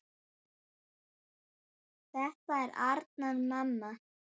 Þetta er Arnar, mamma!